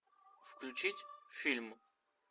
включить фильм